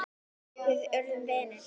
Við urðum vinir.